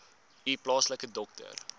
u plaaslike dokter